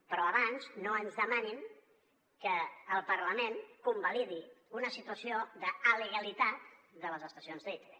però abans no ens demanin que el parlament convalidi una situació d’alegalitat de les estacions d’itv